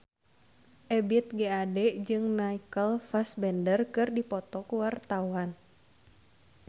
Ebith G. Ade jeung Michael Fassbender keur dipoto ku wartawan